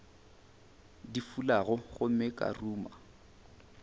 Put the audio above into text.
di fulago gomme ka ruma